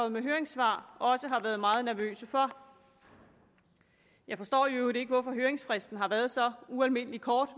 med høringssvar også har været meget nervøse for jeg forstår i øvrigt ikke hvorfor høringsfristen har været så ualmindelig kort